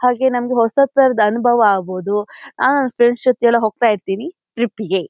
ಹಾಗೆ ನನ್ಗೆ ಹೊಸತರದ್ ಅನ್ಭವ ಆಗ್ಬೋದುಅಹ್ ಫ್ರೆಂಡ್ಸ್ ಜೊತೆ ಎಲ್ಲ ಹೋಗ್ತಾ ಇರ್ತೀನಿ ಟ್ರಿಪ್ಪಿಗೆ .